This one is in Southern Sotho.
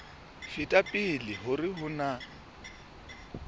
feta pele hore ho na